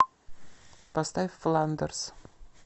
поставь фландерс